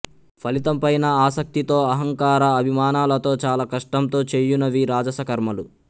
ఫలితం పైన ఆసక్తితో అహంకార అభిమానాలతో చాలా కష్టంతో చేయునవి రాజస కర్మలు